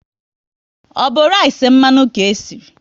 Ọ bụ rice mmanụ ka esiri?